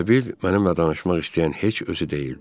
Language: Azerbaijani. Elə bil mənimlə danışmaq istəyən heç özü deyildi.